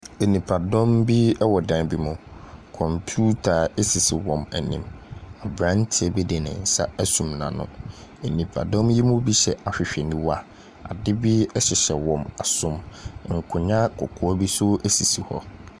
Nipadɔm bi wɔ dan bi mu. Computer sisi wɔn anim. Aberanteɛ bi de ne nsa asum n'ano. Nipadɔm yi mu bi hyɛ ahwehwɛniwa. Adeɛ bi hyehyɛ wɔn asom. Nkonnwa kɔkɔɔ bi nso sisi hɔ.